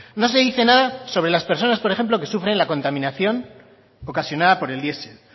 no se dice nada sobre las personas por ejemplo que sufren la contaminación ocasionada por el diesel